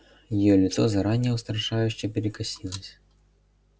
её лицо заранее устрашающе перекосилось